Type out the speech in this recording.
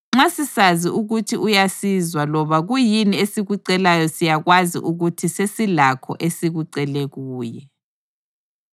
Nxa sisazi ukuthi uyasizwa loba kuyini esikucelayo siyakwazi ukuthi sesilakho esikucele kuye.